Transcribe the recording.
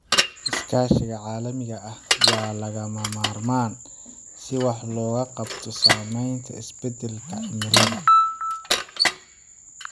Iskaashiga caalamiga ah waa lagama maarmaan si wax looga qabto saameynta isbedelka cimilada.